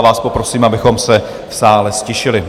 A vás poprosím, abychom se v sále ztišili.